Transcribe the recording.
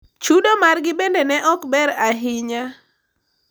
Chudo margi bende ne ok ber ahinya.